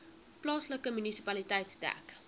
plaaslike munisipaliteit dek